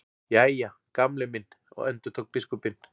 Jæja, Gamli minn endurtók biskupinn.